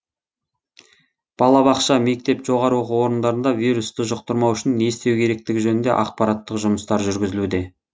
балабақша мектеп жоғары оқу орындарында вирусты жұқтырмау үшін не істеу керектігі жөнінде ақпараттық жұмыстар жүргізілуде